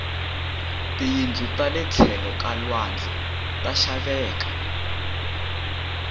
tiyindlu tale tlhelo ka lwandle ta xaveka